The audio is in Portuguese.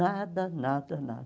Nada, nada, nada.